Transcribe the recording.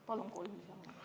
Palun kolm minutit lisaaega!